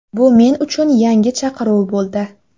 Bu men uchun yangi chaqiruv bo‘ldi.